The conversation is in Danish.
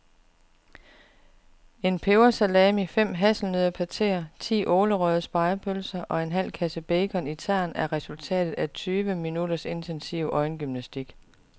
En pebersalami, fem hasselnøddepateer, ti ålerøgede spegepølser og en halv kasse bacon i tern er resultatet af tyve minutters intensiv øjengymnastik.